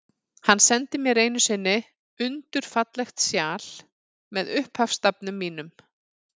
Hann sendi mér einu sinni undur fallegt sjal, með upphafsstafnum mínum.